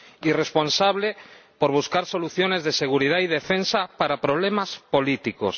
irresponsable, por buscar soluciones de seguridad y defensa para problemas políticos.